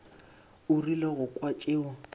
o rile go kwa tšeo